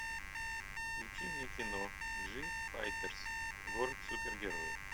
включи мне кино джифайтерс город супергероев